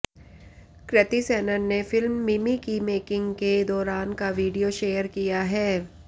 कृति सेनन ने फिल्म मिमि की मेकिंग के दौरान का वीडियो शेयर किया है